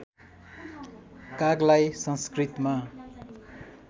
कागलाई संस्कृतमा